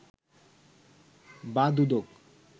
বা দুদক